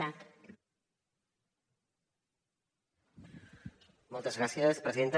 moltes gràcies presidenta